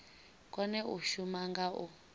kone u shuma nga u